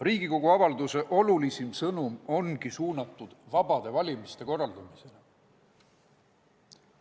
Riigikogu avalduse olulisim sõnum ongi suunatud vabade valimiste korraldamisele.